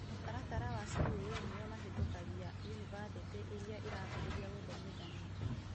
Mũtaratara wa CUE nio mahetũkagia yunibathĩtĩ ĩrĩa ĩrambĩrĩria gũthomithania